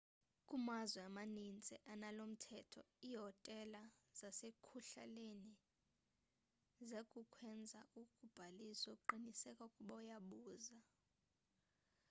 kumazwe amanintsi analomthetho iihotela zasekuhlaleni ziyakwenza ubhaliso qiniseka ukuba uyabuza